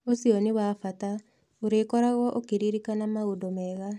ũcio nĩ wa bata. ũrĩkoragwo ũkĩririkana maũndũ mega.